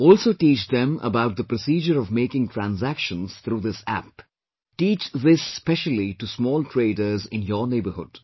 Also teach them about the procedure of making transactions through this App; teach this specially to small traders in your neighbourhood